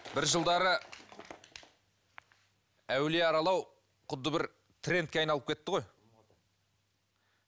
бір жылдары әулие аралау құдды бір трендке айналып кетті ғой